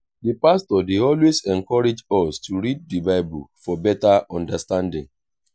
di pastor dey always encourage us to read di bible for better understanding.